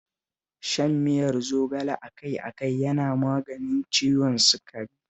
Shan miyar zogale a kai a kai yana maganin ciwon sukari